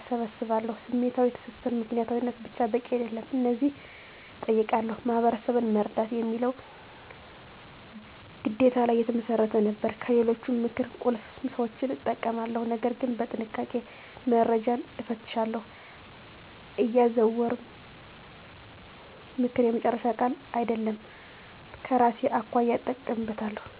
እሰባስባለሁ። #ስሜታዊ ትስስር ምክንያታዊነት ብቻ በቂ አይደለም። እነዚህን እጠይቃለሁ፦ "ማህበረሰብን መርዳት" የሚለው ግዴታ ላይ የተመሰረተ ነበር። #ከሌሎች ምክር ቁልፍ ሰዎችን እጠቀማለሁ፣ ነገር ግን በጥንቃቄ፦ - መረጃን እፈትሻለሁ፣ አያዛውርም፦ ምክር የመጨረሻ ቃል አይደለም፤ ከራሴ አኳያ እጠቀምበታለሁ።